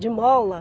De mola.